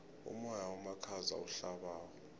umoya omakhaza ohlabako